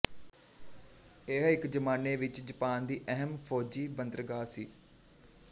ਇਹ ਇੱਕ ਜ਼ਮਾਨੇ ਵਿੱਚ ਜਾਪਾਨ ਦੀ ਅਹਿਮ ਫ਼ੌਜੀ ਬੰਦਰਗਾਹ ਸੀ